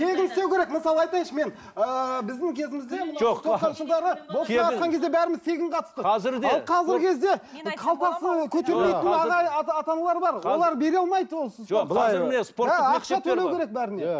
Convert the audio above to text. тегін істеу керек мысалға айтайыншы мен ыыы біздің кезімізде бәріміз тегін қатыстық олар бере алмайды